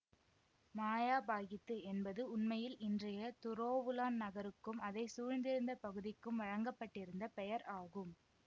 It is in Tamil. மயாபாகித்து என்பது உண்மையில் இன்றைய துரோவுலான் நகருக்கும் அதை சூழ்ந்திருந்த பகுதிக்கும் வழங்க பட்டிருந்த பெயர் ஆகும்